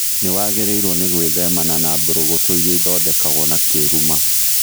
Nĩwagĩrĩirwo nĩ gwĩthemana na mbũrũgũtũ irĩa ithondekagwo na kĩruma